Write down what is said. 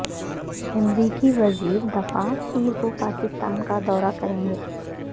امریکی وزیر دفاع پیر کو پاکستان کا دورہ کریں گے